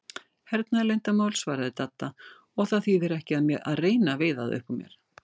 Hernaðarleyndarmál svaraði Dadda, og það þýðir ekki að reyna að veiða það upp úr mér